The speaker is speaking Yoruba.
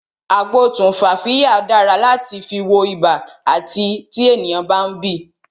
Agbo tumfafiya dára láti fi wọ ibà àti tí ènìyàn bá ń bì